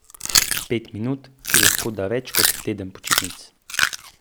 Pet minut, ki lahko da več kot teden počitnic.